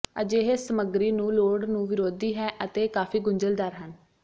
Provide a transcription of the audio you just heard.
ਅਜਿਹੇ ਸਮੱਗਰੀ ਨੂੰ ਲੋੜ ਨੂੰ ਵਿਰੋਧੀ ਹੈ ਅਤੇ ਕਾਫ਼ੀ ਗੁੰਝਲਦਾਰ ਹਨ